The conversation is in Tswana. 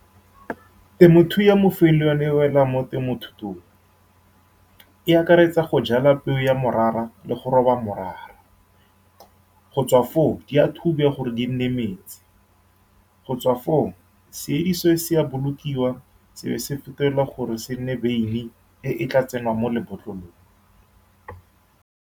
Temothuo ya mo le yone e wela mo temothuong. E akaretsa go jala peo ya morara le go roba morara. Go tswa foo, di a thubiwa gore di nne metsi, go tswa foo se se a bolokiwa, se be se fetolwa gore se nne beine e e tla tsenngwang mo lebotlolong.